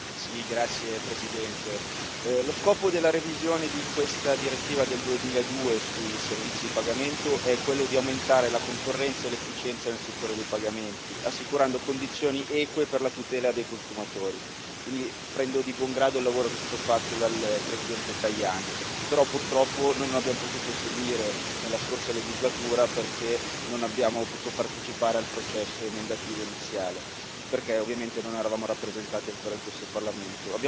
Signora Presidente, onorevoli colleghi, lo scopo della revisione di questa direttiva del 2002 sui servizi di pagamento è di aumentare la concorrenza e l'efficienza nel settore dei pagamenti, assicurando condizioni eque per la tutela dei consumatori. Quindi prendo di buon grado il lavoro che è stato fatto dal presidente Tajani, che però purtroppo noi non abbiamo potuto seguire nella scorsa legislatura, perché non abbiamo potuto partecipare al processo emendativo iniziale, perché ovviamente non eravamo rappresentati ancora in questo Parlamento.